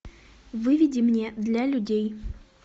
выведи мне для людей